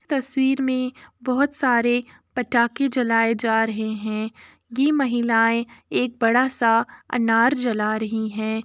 तस्वीर में बोहोत सारे पटाके जलाए जा रहे हैं। ये महिलाएं एक बड़ा सा अनार जला रही है।